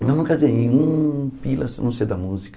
Eu nunca ganhei um pila, a não ser da música.